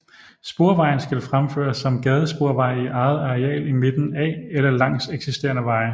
Sporvejen skal fremføres som gadesporvej i eget areal i midten af eller langs eksisterende veje